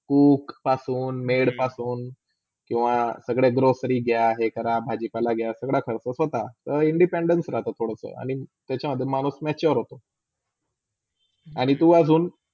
cook पासून , maid पासून किवा सगळे grossary घ्या, हे करा भाजीपालाघ्या सगळा करतो स्वतः ता Independence राहतो थोडा त्याच्यामधे माणूस mature होतो आणि तू अजून